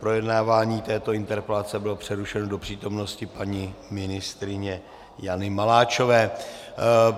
Projednávání této interpelace bylo přerušeno do přítomnosti paní ministryně Jany Maláčové.